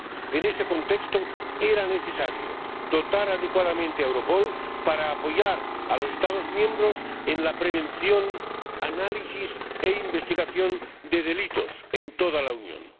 En este contexto, era necesario dotar adecuadamente a Europol para apoyar a los Estados miembros en la prevención, el análisis y la investigación de delitos en toda la Unión.